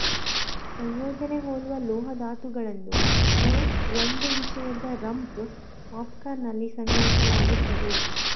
ಸಂಯೋಜನೆ ಹೋಲುವ ಲೋಹ ಧಾತುಗಳನ್ನು ನ ಒಂದು ವಿಷಯದ ರಂಪ್ ಪಾಪ್ಕಾರ್ನ್ ನಲ್ಲಿ ಸಂಗ್ರಹಿಸಲಾಗುತ್ತದೆ